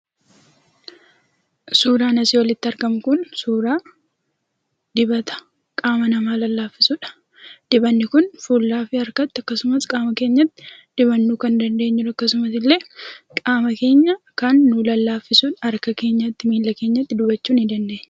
Suuraan asii olitti argamu Kun, suuraa dibata qaama namaa lallaafisudha. Dibatni Kun fuulaa fi harkatti akkasumas qaama keenyatti dibachuu kan dandeenyu akkasuma illee qaama keenya kan nuu lallaafisudha. Harka keenyatti, miila keenyatti dibachuu ni dandeenya.